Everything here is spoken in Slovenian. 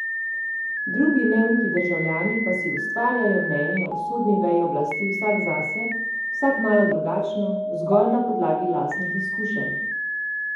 Drugi neuki državljani pa si ustvarjajo mnenje o sodni veji oblasti vsak zase, vsak malo drugačno, zgolj na podlagi lastnih izkušenj.